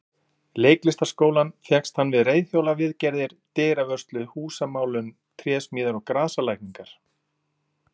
Leiklistarskólann fékkst hann við reiðhjólaviðgerðir, dyravörslu, húsamálun, trésmíðar og grasalækningar.